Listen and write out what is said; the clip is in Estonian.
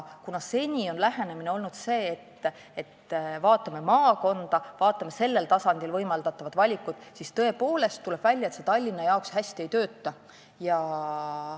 Seni on lähenemine olnud selline, et me vaatame maakonda, sellel tasandil võimaldatavat valikut, ja on tõepoolest välja tulnud, et see Tallinna jaoks hästi ei tööta.